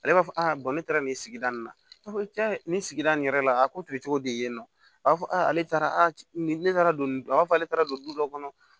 Ale b'a fɔ ne taara nin sigida nin na a b'a fɔ cɛn ni sigida nin yɛrɛ la a ko tun ye cogo di yen nɔ a b'a fɔ a ale taara a ne taara don a b'a fɔ ale taara don du dɔ kɔnɔ